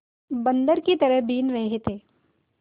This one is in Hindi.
बंदर की तरह बीन रहे थे